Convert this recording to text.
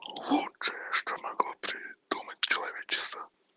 что могло придумать человечество